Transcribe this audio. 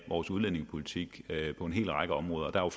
vores udlændingepolitik på en hel række områder og